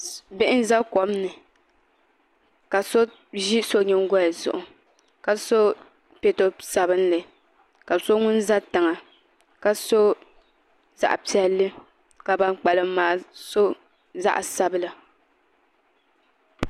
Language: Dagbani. Bihi n ʒe kom ni la so ʒi so nyingoli zuɣu ka so pɛto whaat ka so ŋun ʒɛ tiŋa ka so zaɣ piɛlli ka ban kpalim maa so zaɣ' sabila